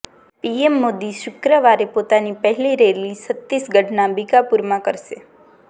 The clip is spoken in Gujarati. પીએમ મોદી શુક્રવારે પોતાની પહેલી રેલી છત્તીસગઢના બીકાપુરમાં કરશે